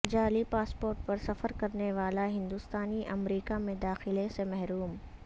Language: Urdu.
جعلی پاسپورٹ پر سفر کرنے والا ہندوستانی امریکہ میں داخلہ سے محروم